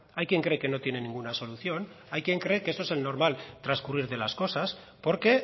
hay quien cree que no tiene ninguna solución hay quien cree que eso es el normal transcurrir de las cosas porque